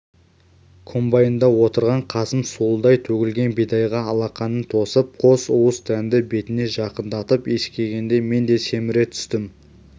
комбайнда отырған қасым суылдай төгілген бидайға алақанын тосып қос уыс дәнді бетіне жақындатып иіскегенде мен де семіре түстім